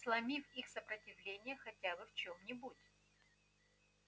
сломив их сопротивление хотя бы в чем-нибудь